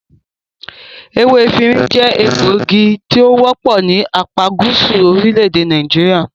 Ewé efinrin jẹ́ egbògi tí o wọ́pọ̀ ní apágúsù orílẹ̀-èdè Nàìjíríà.